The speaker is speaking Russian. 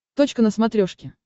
точка на смотрешке